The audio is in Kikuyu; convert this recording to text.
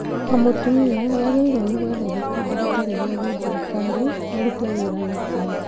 O mutumia nĩagĩrĩirwo nĩ gwetha gĩkundi gĩtarĩ gĩa gĩthirikari arute wĩra nakĩo